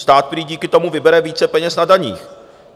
Stát prý díky tomu vybere více peněz na daních.